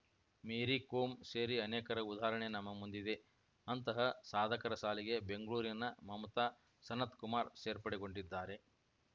ಮೇರಿ ಕೋಮ್‌ ಸೇರಿ ಅನೇಕರ ಉದಾಹರಣೆ ನಮ್ಮ ಮುಂದಿದೆ ಅಂತಹ ಸಾಧಕರ ಸಾಲಿಗೆ ಬೆಂಗಳೂರಿನ ಮಮತಾ ಸನತ್‌ಕುಮಾರ್‌ ಸೇರ್ಪಡೆಗೊಂಡಿದ್ದಾರೆ